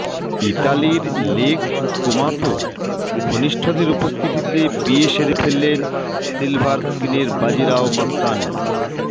ইতালির লেক কোমোতো ঘনিষ্ঠদের উপস্থিতিতে বিয়ে সেরে ফেললেন সিলভার স্ক্রিনের বাজিরাও মাস্তানি